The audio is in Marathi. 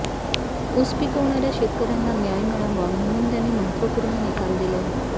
ऊस पिकविणाऱ्या शेतकऱ्यांना न्याय मिळावा म्हणून त्यांनी महत्त्वपूर्ण निकाल दिले